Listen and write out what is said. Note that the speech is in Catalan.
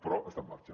però està en marxa